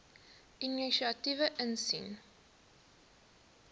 inisiatiewe insien